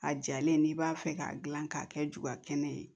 A jalen n'i b'a fɛ k'a dilan k'a kɛ juga kɛnɛ ye